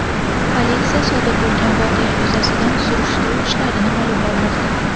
Politsiya sodir bo‘lgan voqea yuzasidan surishtiruv ishlarini olib bormoqda.